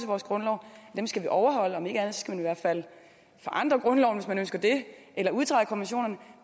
vores grundlov skal vi overholde om ikke andet skal vi i hvert fald forandre grundloven hvis man ønsker det eller udtræde af konventionerne